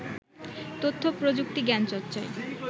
তথ্য-প্রযুক্তি জ্ঞানচর্চায়